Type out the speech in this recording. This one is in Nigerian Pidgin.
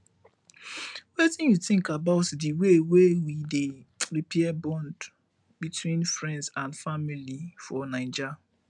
wetin you think about di way wey we dey repair bonds between friends and family for naija